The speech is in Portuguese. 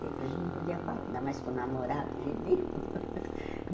Tempo a gente não podia falar, ainda mais com o namorado, de jeito nenhum.